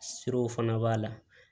Siw fana b'a la